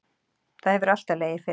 Það hefur alltaf legið fyrir